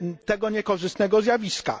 tego niekorzystnego zjawiska.